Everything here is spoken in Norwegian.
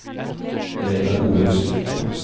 Reidar Olufsen